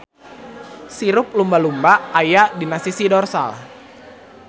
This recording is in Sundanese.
Sirip lumba-lumba ayana dina sisi dorsal.